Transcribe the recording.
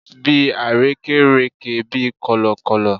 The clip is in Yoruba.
Bi arekereke bi kọlọkọlọ